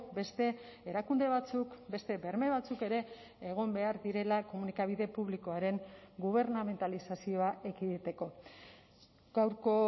beste erakunde batzuk beste berme batzuk ere egon behar direla komunikabide publikoaren gubernamentalizazioa ekiditeko gaurko